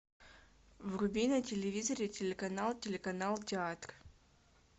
вруби на телевизоре телеканал телеканал театр